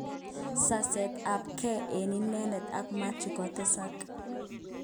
Saset ab ge eng inedet ak Mathew kotesak.